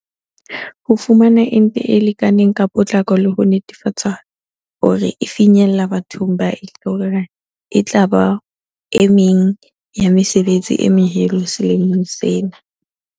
Ho fumana ente e lekaneng ka potlako le ho netefatsa hore e finyella bathong ba e hlokang etlaba o mong wa mesebetsi e meholo selemong sena.